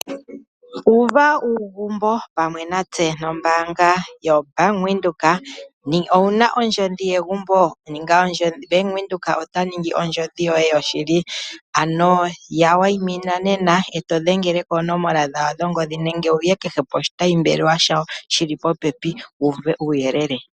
Uva uugumbo pamwe natse nombaanga yoBank Windhoek. Owu na ondjodhi yegumbo? Bank Windhoek ota ningi ondjodhi yoye yoshili. Ya wayimina nena e to dhengele koonomola dhawo dhongodhi nenge wu ye kehe poshitayimbaanga shi li popepi wu uve uuyelele.